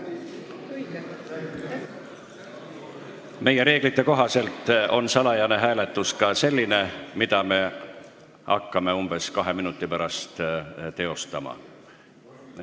Meie reeglite kohaselt on salajane hääletus ka selline hääletus, mida me hakkame umbes kahe minuti pärast teostama.